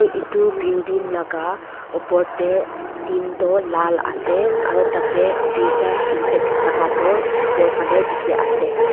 Etu building laka upor tey tintou lal ase aro tate tuita sentax thaka tu upor fale dekhe ase.